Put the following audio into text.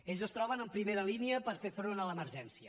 ells es troben en primera línia per fer front a l’emergència